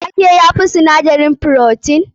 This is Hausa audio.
Wake ya fi sinadarin frotin?